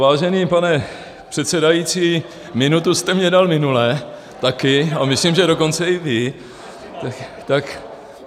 Vážený pane předsedající, minutu jste mi dal minule taky a myslím, že dokonce i vy.